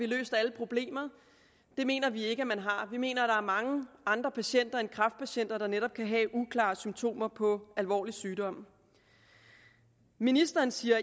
løst alle problemer det mener vi ikke at man har vi mener er mange andre patienter end kræftpatienter der netop kan have uklare symptomer på alvorlig sygdom ministeren siger